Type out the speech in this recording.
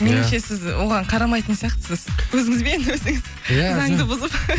меніңше сіз оған қарамайтын сияқтысыз өзіңізбен өзіңіз заңды бұзып